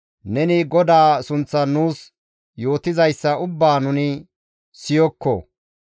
«Neni GODAA sunththan nuus yootizayssa ubbaa nuni siyokko.